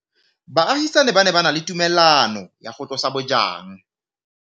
Baagisani ba ne ba na le tumalanô ya go tlosa bojang.